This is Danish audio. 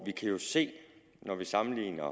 kan jo se når vi sammenligner